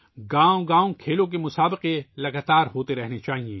گاؤں گاؤں کھیلوں کے مقابلوں کو مسلسل جاری رہنا چاہیے